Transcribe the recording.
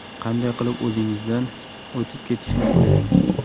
Qanday qilib o‘zingizdan o‘tib ketishni o‘ylang.